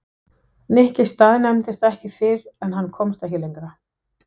Nikki staðnæmdist ekki fyrr en hann komst ekki lengra.